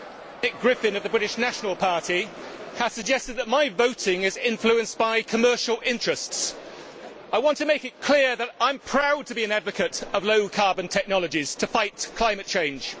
Madam President, Nick Griffin of the British National Party has suggested that my voting is influenced by commercial interests. I want to make it clear that I am proud to be an advocate of low carbon technologies to fight climate change.